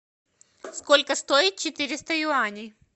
сколько стоит четыреста юаней